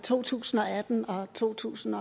to tusind og atten og to tusind